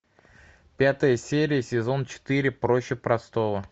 пятая серия сезон четыре проще простого